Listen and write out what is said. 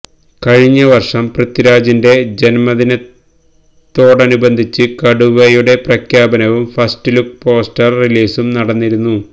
കഴിഞ്ഞ വര്ഷം പൃത്വിരാജിന്റെ ജന്മദിനത്തോടനുബന്ധിച്ച് കടുവയുടെ പ്രഖ്യാപനവും ഫസ്റ്റ് ലുക്ക് പോസ്റ്റര് റിലീസും നടന്നിരുന്നു